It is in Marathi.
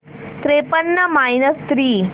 त्रेपन्न मायनस थ्री